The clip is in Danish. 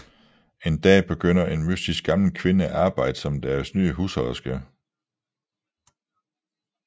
En dag begynder en mystisk gammel kvinde at arbejde som deres nye husholderske